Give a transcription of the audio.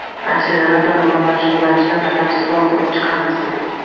Akselerator nima bilan shug‘ullanishini batafsilroq ko‘rib chiqamiz.